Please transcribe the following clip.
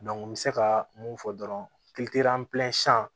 n bɛ se ka mun fɔ dɔrɔn